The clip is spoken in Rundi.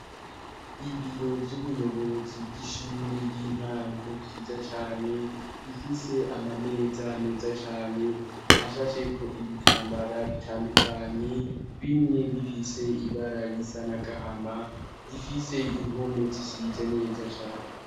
Ibiro vy'ubuyobozi bw'ishure y'intango byiza cyane bifise amameza meza cane ashasheko ibitambara bitandukanye bimwe bifise ibara risanagahama zifise impome zisize neza cane.